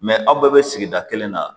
aw bɛɛ bɛ sigida kelen na